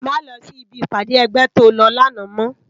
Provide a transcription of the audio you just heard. Má lò si bi ipàdé ègbè tó lò làná mò